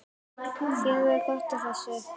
Þér verður gott af þessu